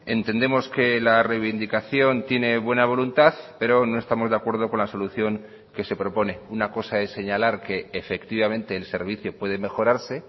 entendemos que la reivindicación tiene buena voluntad pero no estamos de acuerdo con la solución que se propone una cosa es señalar que efectivamente el servicio puede mejorarse